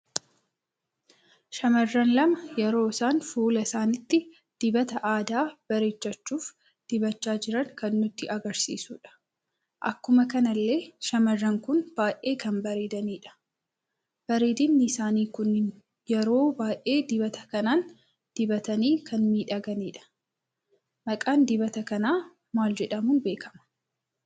Shamarran lama yeroo isaan fuula isaanitti dibata aadaa bareechachuuf dibacha jiran kan nutti agarsiisuudha. Akkuma kanallee shamarran kun baay'ee kan bareedanidha. bareedinni isaani kun yeroo baay'ee dibata kanaan dibatani kan miidhaganidha. maqaan dibata kana maal jedhamun beekama?